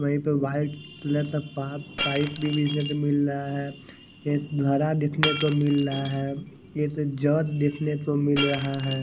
V पे white colour का पा पाइप देखने को मिल रहा है एक घरा देखने को मिल रहा है एक जग देखने को मिल रहा है।